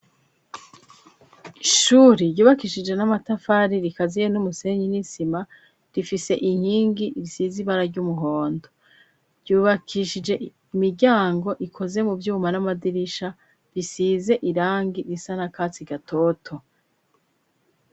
Ishuri ryubakishije n'amatafari rikaziye n'umusenyi n'insima rifise inkingi isize ibara ry'umuhondo ryubakishije imiryango ikoze mu vyuma n'amadirisha bisize irangi risa na katsi gatoto.